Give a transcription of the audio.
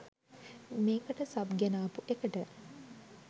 මේකට සබ් ගෙනාපු එකට